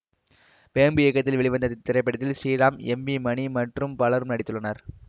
வேம்பு இயக்கத்தில் வெளிவந்த இத்திரைப்படத்தில் ஸ்ரீராம் எம் வி மணி மற்றும் பலரும் நடித்துள்ளனர்